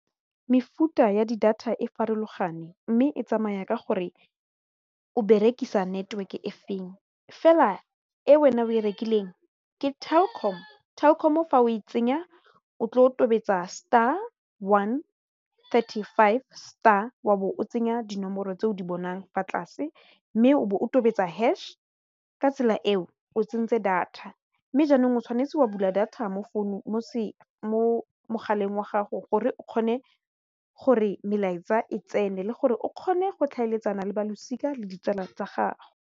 Mefuta ya di data e farologaneng mme e tsamaya ka gore o berekisa network e feng fela e wena o e rekileng ke Telkom, Telkom o fa o e tsenya o tle o tobetsa star one thirty-five star wa bo o tsenya dinomoro tse o di bonang fa tlase mme o be o tobetsa hash ka tsela eo o tsentse data mme jaanong o tshwanetse wa bula data mo founung mo mogaleng wa gago gore o kgone gore melaetsa e tsene le gore o kgone go tlhaeletsana le balosika le ditsala tsa gago.